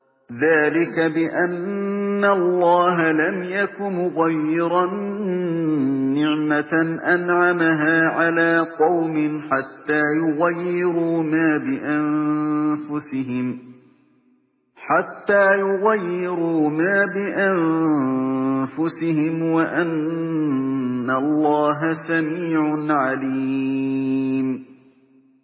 ذَٰلِكَ بِأَنَّ اللَّهَ لَمْ يَكُ مُغَيِّرًا نِّعْمَةً أَنْعَمَهَا عَلَىٰ قَوْمٍ حَتَّىٰ يُغَيِّرُوا مَا بِأَنفُسِهِمْ ۙ وَأَنَّ اللَّهَ سَمِيعٌ عَلِيمٌ